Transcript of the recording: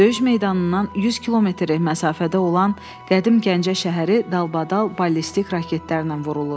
Döyüş meydanından 100 kilometr məsafədə olan qədim Gəncə şəhəri dalbadal ballistik raketlərlə vurulur.